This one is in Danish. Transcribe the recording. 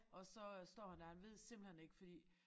Og så øh står han dér og han ved simpelthen ikke fordi